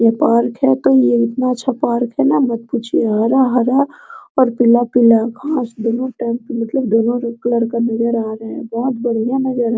ये पार्क है तो इतना अच्छा पार्क है ना मत पूछिए हरा-हरा और पीला कलर घास दोनो टाइप मतलब दोनो का कलर का भुरा रंग है बहुत बढ़िया नजर आ --